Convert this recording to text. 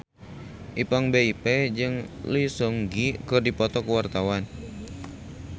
Ipank BIP jeung Lee Seung Gi keur dipoto ku wartawan